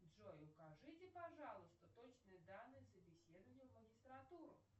джой укажите пожалуйста точные данные собеседования в магистратуру